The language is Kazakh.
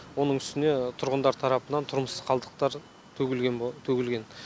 оның үстіне тұрғындар тарапынан тұрмыс қалдықтар төгілген